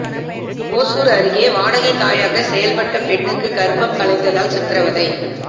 ஓசூர் அருகே வாடகை தாயாக செயல்பட்ட பெண்ணுக்கு கர்ப்பம் கலைந்ததால் சித்ரவதை